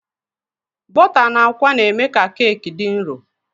Bọta na àkwá na-eme ka keki dị nro.